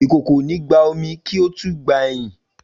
Ikoko o ni gba omi, ki o tun gbe eyin.